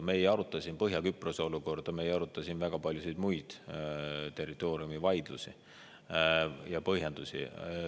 Me ei aruta siin Põhja-Küprose olukorda, me ei aruta siin väga paljusid muid territooriumivaidlusi ja põhjendusi.